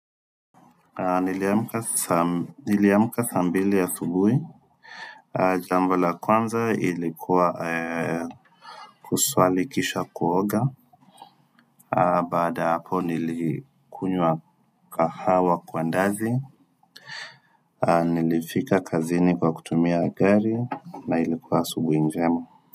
Niliamka saa mbili asubuhi Jambo la kwanza ilikuwa kuswali kisha kuoga Baada hapo nilikuywa kahawa kwa ndazi Nilifika kazini kwa kutumia gari na ilikuwa asubuhi njema.